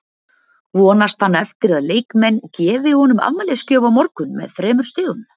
Vonast hann eftir að leikmenn gefi honum afmælisgjöf á morgun með þremur stigum?